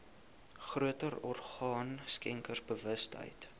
groter orgaan skenkersbewustheid